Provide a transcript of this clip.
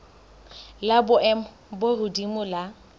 la boemo bo hodimo la